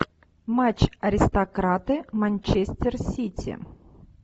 матч аристократы манчестер сити